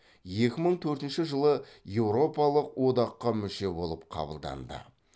екі мың төртінші жылы еуропалық одаққа мүше болып қабылданды